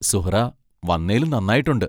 സുഹ്റാ വന്നേലും നന്നായിട്ടൊണ്ട്.